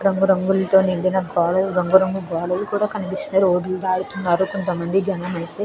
రంగు రంగులతో నిండిన గోడలు రంగు రంగు గోడలు కనిపిస్తున్నాయి. రోడ్డు దాటు తున్నారు కొంత మంది జనం అయితే.